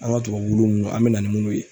An ka tubabuwulu ninnu an bɛ na ni minnu ye